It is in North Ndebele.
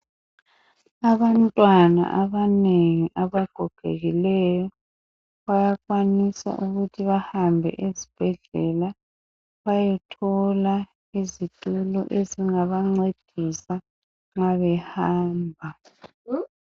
Abantwana abanengi abagogekileyo bayakwanisa ukuthi bahambe esibhedlela bayethola izitulo ezingabancedisa nxa behamba.